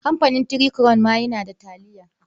Kamfanin Three Crown ma yana da taliya.